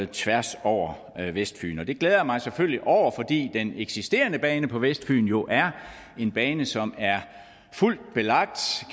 tværs over vestfyn og det glæder jeg mig selvfølgelig over fordi den eksisterende bane på vestfyn jo er en bane som er fuldt belagt